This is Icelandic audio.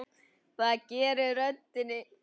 Það gerir röddin.